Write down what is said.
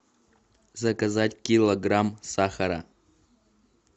заказать килограмм сахара